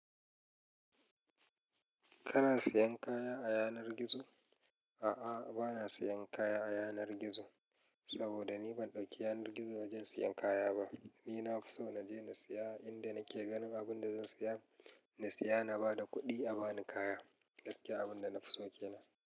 Kana siyan kaya a yanar gizo? A'a bana siyan kaya a yanar gizo. Sabo da ni ban ɗauki yanar gizo wajen siyan kaya ba. Ni na fi so na je na siya inda nake ganin abun da zan siya, na siya na ba da kuɗi a ba ni kaya. Gaskiya abun da na fi so kenan.